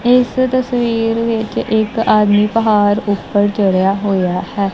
ਇੱਸ ਤਸਵੀਰ ਵਿੱਚ ਇੱਕ ਆਦਮੀ ਪਹਾੜ ਊਪਰ ਚੜ੍ਹਿਆ ਹੋਇਆ ਹੈ।